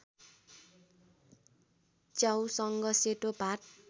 च्याउसँग सेतो भात